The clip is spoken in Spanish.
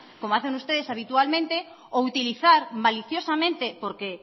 como hacen ustedes habitualmente o utilizar maliciosamente porque